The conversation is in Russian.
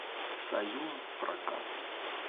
союзпрокат